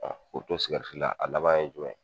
k'u to sikɛriti la a laban ye jumɛn ye?